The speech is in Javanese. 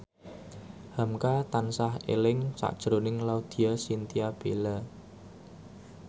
hamka tansah eling sakjroning Laudya Chintya Bella